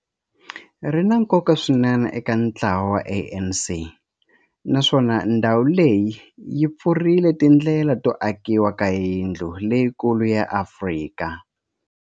Ri na nkoka swinene eka ntlawa wa ANC, naswona ndhawu leyi yi pfurile tindlela to akiwa ka yindlu leyikulu ya Afrika.